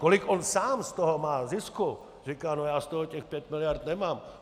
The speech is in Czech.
Kolik on sám z toho má zisku - říká: no já z toho těch pět miliard nemám.